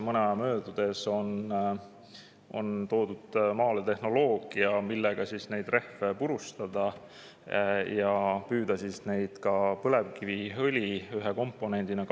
Mõni aeg tagasi toodi tehnoloogia, et neid rehve purustada ja kasutada neid põlevkiviõli ühe komponendina.